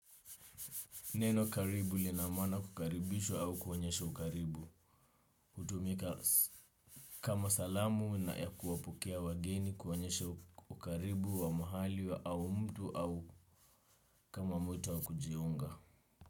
Neno karibu lina mana kukaribishwa au kuonyesha ukaribu, hutumika kama salamu na ya kuwapokea wageni kuonyesha ukaribu wa mahali au mtu au kama mtu wa kujiunga.